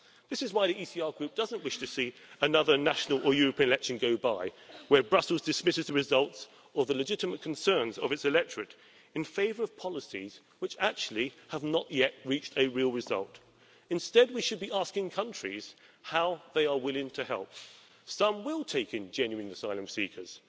This is why the ECR Group doesn't wish to see another national or European election go by, where Brussels dismisses the results or the legitimate concerns of its electorate in favour of policies which actually have not yet reached a real result. Instead, we should be asking countries how they are willing to help. Some will take in genuine asylum seekers